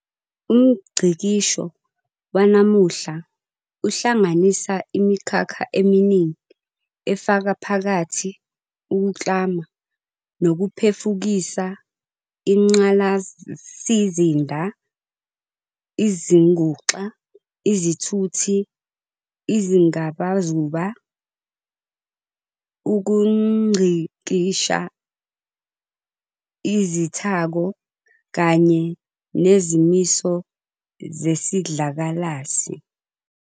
UmNgcikisho wanamuhla uhlanganisa imikhakha eminingi efaka phakathi ukuklama nokuphefukisa ingqalasizinda, izinguxa, izithuthi, izingabazuba, ukungcikisha izithako, kanye nezimiso zesidlakalasi.